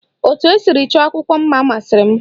Etu esiri chọọ akwụkwọ mma masịrị m